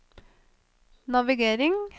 navigering